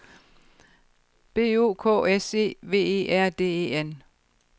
B O K S E V E R D E N